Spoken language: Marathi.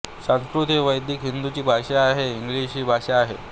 संस्कृत ही वैदिक हिंदूंची भाषा आहे इंग्लिश ही भाषा आहे